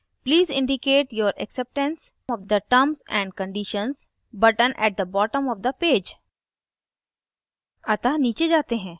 फिर यह बताता है please indicate your acceptance of the terms and conditions button at the bottom of the page